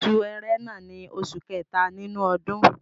Oṣù Ẹrẹ̀nà ní oṣù kẹta nínú ọdún